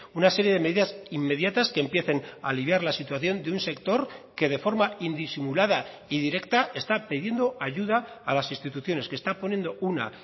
una serie de medidas inmediatas que empiecen a aliviar la situación de un sector que de forma indisimulada y directa está pidiendo ayuda a las instituciones que está poniendo una